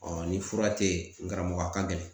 ni fura te yen, n karamɔgɔ a ka gɛlɛn.